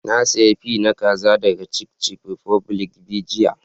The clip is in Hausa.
Na siya fi na kazan daga chicken republic be jiya.